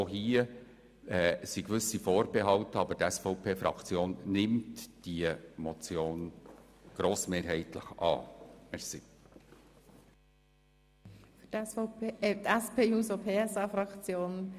Auch hier bestehen also gewisse Vorbehalte, aber die SVP-Fraktion nimmt diese Motion grossmehrheitlich an.